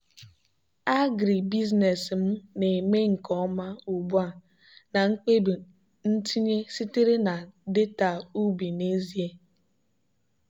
agribusiness m na-eme nke ọma ugbu a na mkpebi ntinye sitere na data ubi n'ezie.